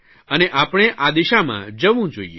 અને આપણે આ દિશામાં જવું જોઇએ